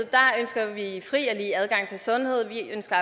i fri og lige adgang til sundhed vi ønsker